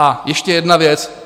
A ještě jedna věc.